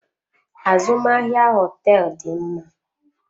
Azụmahịa hoteelu dị mma.